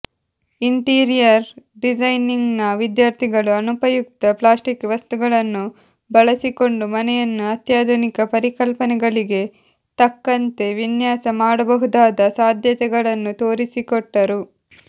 interior ಡಿಸೈನಿಂಗ್ನ ವಿದ್ಯಾರ್ಥಿಗಳು ಅನುಪಯುಕ್ತ ಪ್ಲಾಸ್ಟಿಕ್ ವಸ್ತುಗಳನ್ನು ಬಳಸಿಕೊಂಡು ಮನೆಯನ್ನು ಅತ್ಯಾಧುನಿಕ ಪರಿಕಲ್ಪನೆಗಳಿಗೆ ತಕ್ಕಂತೆ ವಿನ್ಯಾಸ ಮಾಡಬಹುದಾದ ಸಾಧ್ಯತೆಗಳನ್ನು ತೋರಿಸಿಕೊಟ್ಟರು